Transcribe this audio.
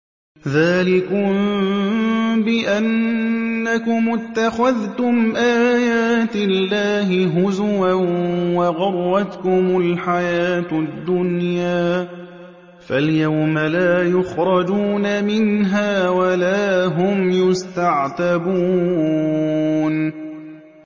ذَٰلِكُم بِأَنَّكُمُ اتَّخَذْتُمْ آيَاتِ اللَّهِ هُزُوًا وَغَرَّتْكُمُ الْحَيَاةُ الدُّنْيَا ۚ فَالْيَوْمَ لَا يُخْرَجُونَ مِنْهَا وَلَا هُمْ يُسْتَعْتَبُونَ